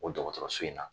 O dɔgɔtɔrɔso in na